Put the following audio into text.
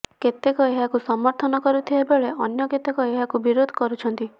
କେତେକ ଏହାକୁ ସମର୍ଥନ କରୁଥିଲାବେଳେ ଅନ୍ୟ କେତେକ ଏହାକୁ ବିରୋଧ କରୁଛନ୍ତି